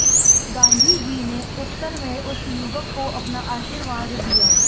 गांधीजी ने उत्तर में उस युवक को अपना आशीर्वाद दिया